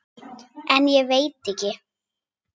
En ég veit ekki.